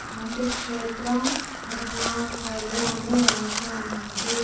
క్రాంతి క్షేత్రం అరుణావాలి అని రాసి ఉన్నది.